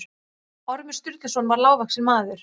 Ormur Sturluson var lágvaxinn maður.